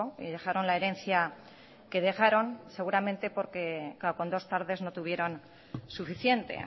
y dejaron la herencia que dejaron seguramente porque con dos tardes no tuvieron suficiente